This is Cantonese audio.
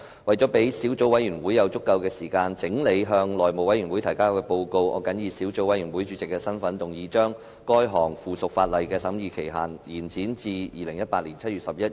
為了讓小組委員會有足夠時間整理向內務委員會提交的報告，我謹以小組委員會主席的身份，動議將該項附屬法例的審議期限，延展至2018年7月11日。